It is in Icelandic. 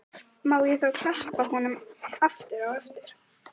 Má ég þá klappa honum aftur á eftir?